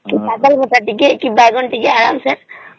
ଶାଗ ଭଜା ଟିକେ କି ବାଇଗଣ ଭାରତ ଟିକେ ଆରାମ ସେ